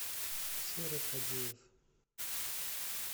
серый хадеев